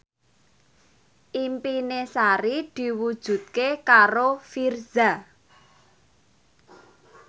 impine Sari diwujudke karo Virzha